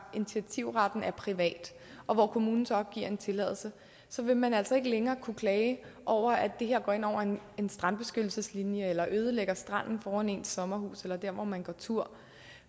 initiativretten er privat og hvor kommunen så giver en tilladelse så vil man altså ikke længere kunne klage over at det her går ind over en strandbeskyttelseslinje eller ødelægger stranden foran ens sommerhus eller der hvor man går tur